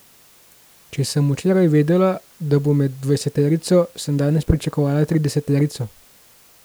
Če sem včeraj vedela, da bom med dvajseterico, sem danes pričakovala trideseterico.